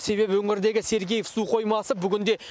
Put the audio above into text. себебі өңірдегі сергеев су қоймасы бүгінде